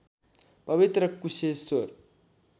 पवित्र कुशेश्वर